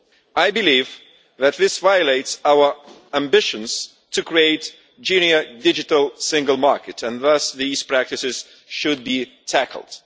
I believe that this violates our ambitions to create a genuine digital single market, and thus these practices should be tackled.